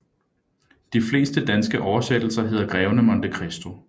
De fleste danske oversættelser hedder Greven af Monte Christo